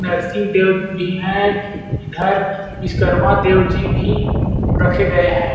नरसिंह देव भी हैं इधर विश्वकर्मा देव जी भी रखे गए हैं।